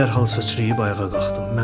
Mən dərhal sıçrayıb ayağa qalxdım.